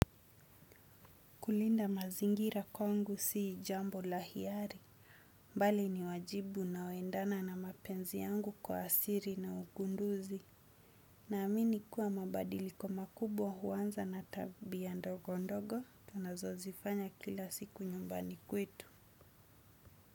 Kulinda mazingira kwangu si jambo la hiari. Bali ni wajibu unaoendana na mapenzi yangu kwa asili na ugunduzi. Naamini kuwa mabadiliko makubwa huanza na tabia ndogo ndogo tunazozifanya kila siku nyumbani kwetu.